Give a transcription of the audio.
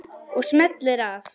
Og smellir af.